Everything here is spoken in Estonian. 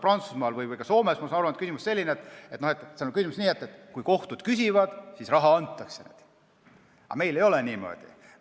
Prantsusmaal või ka Soomes, ma saan aru, on selline süsteem, et kui kohtud küsivad, siis raha antakse, aga meil ei ole niimoodi.